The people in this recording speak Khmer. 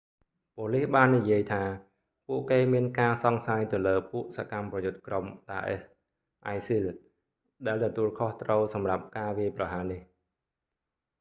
ប៉ូលិសបាននិយាយថា ពួកគេមានការសង្ស័យទៅលើពួកសកម្មប្រយុទ្ធក្រុម daesh isil ដែលទទួលខុសត្រូវសម្រាប់ការវាយប្រហារនេះ